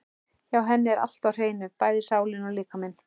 Hjá henni er allt á hreinu, bæði sálin og líkaminn.